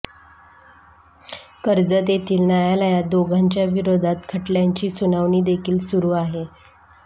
कर्जत येथील न्यायालयात दोघांच्या विरोधात खटल्यांची सुनावणीदेखील सुरू आहे